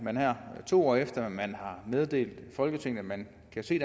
to år efter man har meddelt folketinget at man kan se